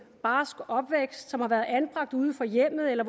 barsk opvækst som har været anbragt uden for hjemmet eller